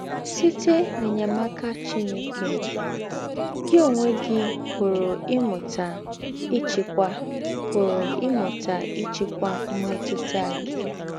Sìtè̄ n’ényémàkà Chìnèkè, gị ǒnwé gị pụ̀rù́ ímụta ị́chị́kwà pụ̀rù́ ímụta ị́chị́kwà m̀mètụ̀tà gị.